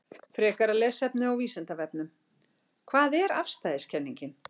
Frekara lesefni á Vísindavefnum: Hvað er afstæðiskenningin?